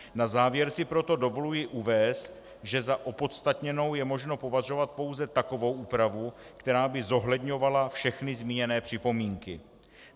Na závěr si proto dovoluji uvést, že za opodstatněnou je možno považovat pouze takovou úpravu, která by zohledňovala všechny zmíněné připomínky.